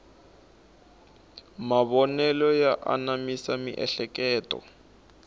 mavonelo ya anamisa miehleketo